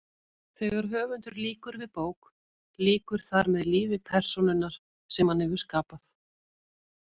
Þegar höfundur lýkur við bók lýkur þar með lífi persónunnar sem hann hefur skapað.